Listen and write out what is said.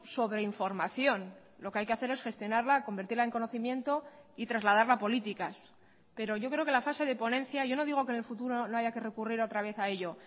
sobreinformación lo que hay que hacer es gestionarla convertirla en conocimiento y trasladarla a políticas pero yo creo que la fase de ponencia yo no digo que en el futuro no haya que recurrir otra vez a ello